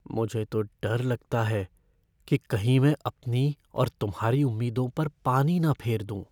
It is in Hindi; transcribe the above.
मुझे तो डर लगता है कि कहीं मैं अपनी और तुम्हारी उम्मीदों पर पानी ना फेर दूँ।